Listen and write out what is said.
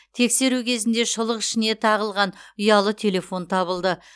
тексеру кезінде шұлық ішіне тығылған ұялы телефон табылды